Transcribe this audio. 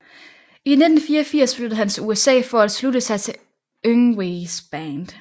I 1984 flyttede han til USA for at slutte sig til Yngwies band